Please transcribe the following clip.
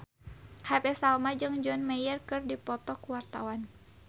Happy Salma jeung John Mayer keur dipoto ku wartawan